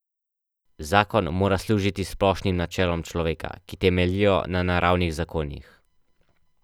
Zakon mora služiti splošnim načelom človeka, ki temeljijo na naravnih zakonih.